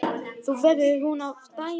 Nú verður hún að dæma.